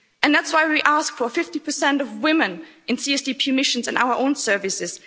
That's why we ask for 50 of women in CSDP missions in our own services.